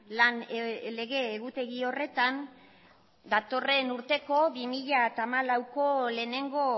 lan lege egutegi horretan datorren urteko bi mila hamalauko lehenengo